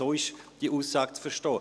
So ist diese Aussage zu verstehen.